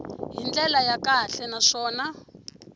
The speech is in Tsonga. hi ndlela ya kahle naswona